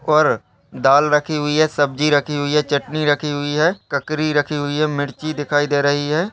और दाल रखी हुई है सब्जी रखी हुई है चटनी रखी हुई है ककरी रखी हुई है मिर्ची दिखाई दे रही है।